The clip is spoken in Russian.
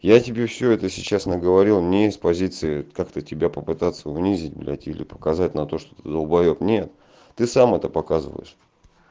я тебе всё это сейчас наговорил у меня есть позиции как-то тебя попытаться унизить блядь или показать на то что ты долбоёб нет ты сам это показываешь